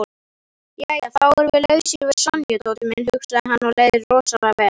Jæja þá erum við lausir við Sonju, Tóti minn, hugsaði hann og leið rosalega vel.